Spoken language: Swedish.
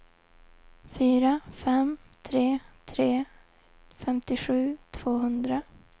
fyra fem tre tre femtiosju tvåhundra